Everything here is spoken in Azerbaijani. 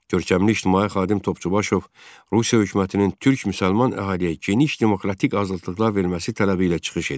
Görkəmli ictimai xadim Topçubaşov Rusiya hökumətinin türk-müsəlman əhaliyə geniş demokratik azadlıqlar verməsi tələbi ilə çıxış edir.